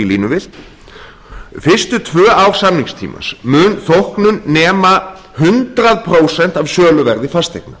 svæðinu fyrstu tvö ár samningstímans mun þóknun nema hundrað prósent af söluverði fasteigna